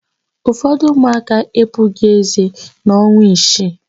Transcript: Ụfọdụ ụmụaka epughị ézé n'ọnwa isii.